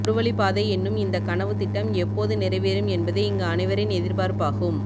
ஒருவழி பாதை என்னும் இந்த கனவுத்திட்டம் எப்போது நிறைவேறும் என்பதே இங்கு அனைவரின் எதிர்ப்பார்ப்பாகும்